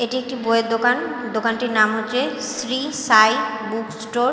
এটি একটি বইয়ের দোকান দোকানটির নাম হচ্ছে শ্রী সাই বুক স্টোর ।